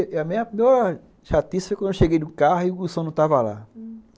A minha pior chatice foi quando eu cheguei no carro e o som não estava lá. Hum.